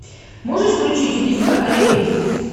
можешь включить убийство ариэль